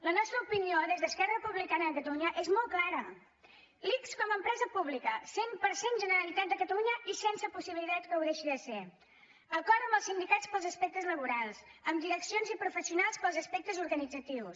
la nostra opinió des d’esquerra republicana de catalunya és molt clara l’ics com a empresa pública cent per cent generalitat de catalunya i sense possibilitats que ho deixi de ser acord amb els sindicats per als aspectes laborals amb direccions i professionals per als aspectes organitzatius